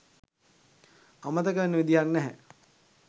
අමතක වෙන්න විදිහක් නැහැ